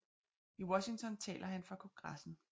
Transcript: I Washington taler han for Kongressen